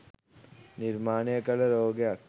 නිර්මාණය කල රෝගයක්.